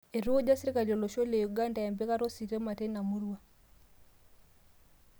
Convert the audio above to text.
Eitukuja sirkali olosho le Uganda empikata ositima teina murua